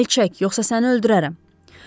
Əl çək, yoxsa səni öldürərəm!